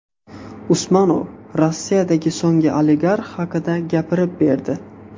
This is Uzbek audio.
Usmonov Rossiyadagi so‘nggi oligarx haqida gapirib berdi.